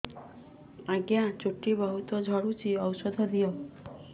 ଆଜ୍ଞା ଚୁଟି ବହୁତ୍ ଝଡୁଚି ଔଷଧ ଦିଅ